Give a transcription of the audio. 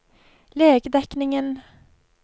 legedekningen